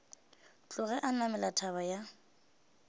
tloge a namela thaba ya